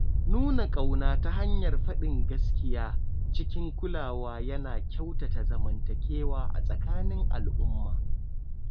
Nuna ƙauna ta hanyar faɗin gaskiya cikin kulawa yana kyautata zamantakewa a tsakanin al'umma.